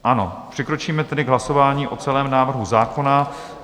Ano, přikročíme tedy k hlasování o celém návrhu zákona.